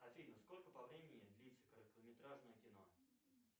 афина сколько по времени длится короткометражное кино